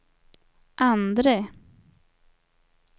andre